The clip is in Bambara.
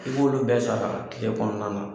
I b'olu bɛɛ sara kile kɔnɔna na.